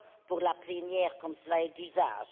pour la plénière, comme cela est d'usage.